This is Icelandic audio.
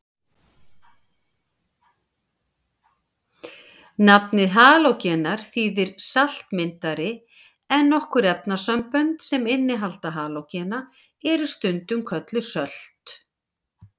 Nafnið halógenar þýðir saltmyndari en nokkur efnasambönd sem innihalda halógena eru stundum kölluð sölt.